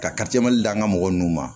Ka d'an ka mɔgɔ nunnu ma